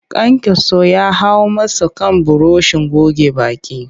Kayankyaso ya hau masa kan burushin goge baki